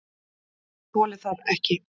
ÉG ÞOLI ÞAÐ EKKI!